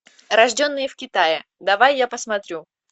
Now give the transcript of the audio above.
рожденные в китае давай я посмотрю